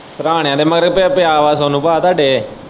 ਸਿਰਹਾਣਿਆਂ ਦੇ ਮਗਰ ਹੀ ਕਿਉਂ ਪਿਆ ਵਾ ਸੋਨੂੰ ਪਾ ਤੁਹਾਡੇ ਇਹ।